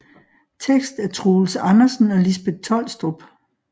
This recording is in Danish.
Tekst af Troels Andersen og Lisbeth Tolstrup